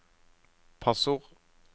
passord